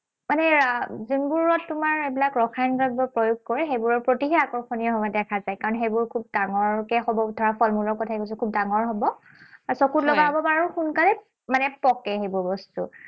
মানে যোনবোৰত তোমাৰ এইবিলাক ৰসায়ন দ্ৰব্য প্ৰয়োগ কৰে, সেইবোৰৰ প্ৰতিহে আকৰ্ষণীয় হোৱা দেখা যায়। কাৰণ সেইবোৰ খুব ডাঙৰকে হব ধৰা ফলমূলৰ কথাই কৈছো। খুব ডাঙৰ হব। আৰু চকুত লগা হব। আৰু সোনকালে মানে পকে সেইবোৰ বস্তু।